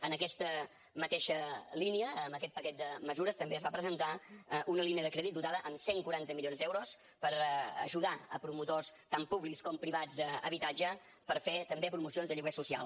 en aquesta mateixa línia amb aquest paquet de mesures també es va presentar una línia de crèdit dotada amb cent i quaranta milions d’euros per ajudar a promotors tant públics com privats d’habitatge per fer també promocions de lloguer social